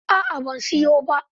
A'a ban siyo ba.